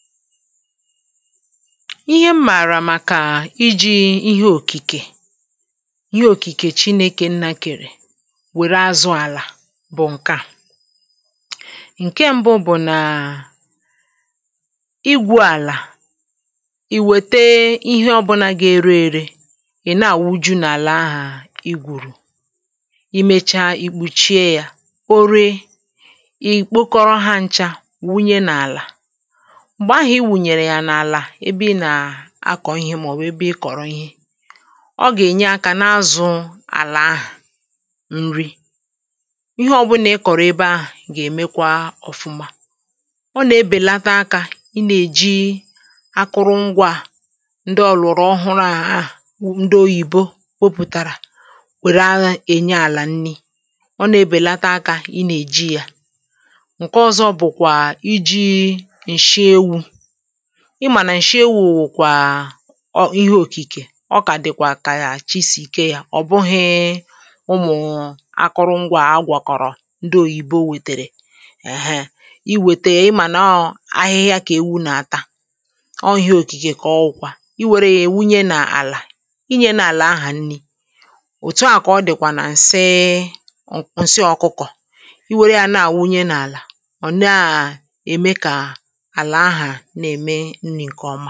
ihe mmàrà màkà iji̇ ihe òkìkè ihe òkìkè chinėkè nnakèrè wère azụ̇ àlà bụ̀ ǹke à ǹke mbụ bụ̀ naa igwu̇ àlà i wète ihe ọbụ̀là gà-ere ėrė ị̀ naà wu ju n’àlà ahụ̀ i gwùrù i mecha ì kpùchie yȧ kpóre i kpokọrọ hȧ nchȧ wunye nà àlà ihe ahụ̀ i wùnyèrè yà n’àlà ebe ị nà-akọ̀ ihe màọ̀bụ̀ ebe ị kọ̀rọ ihe ọ gà-ènye akȧ n’azụ̇ àlà ahụ̀ nri ihe ọbụlà ị kọ̀rọ ebe ahụ̀ gà-èmekwa ọ̀fụma ọ nà-ebèlata akȧ ị nà-èji akụrụ ngwȧ à ndị ọlụ̀rụ̀ ọhụrụ̇ àhụ ndị oyìbopopùtàrà wère ahụ̀ ènye àlà nri ọ nà-ebèlata akȧ ị nà-èji yȧ ǹke ọzọ bụ̀kwà iji̇ ị mà nà ǹshie wụ̀ kwà ihe òkìkè ọ kà dị̀kwà kà chi sì ike yȧ ọ̀ bụghị̇ ụmụ̀nwụ̀ akụrụ ngwȧ agwàkọ̀rọ̀ ndị òyìbo wètèrè èhe. i wète ịmà nọ ahịhịa kà èwu n’ata ọ ihe òkìkè kà ọ ụkwa i wère yȧ èwunye n’àlà inyė n’àlà ahà nni òtù a kà ọ dị̀kwà nà ǹse ǹsị ọ̀kụkọ̀ i wère yȧ naàwunye n’àlà ọ̀ naà ème kà ǹkè ọ̀ma